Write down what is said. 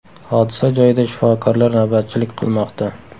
Hodisa joyida shifokorlar navbatchilik qilmoqda.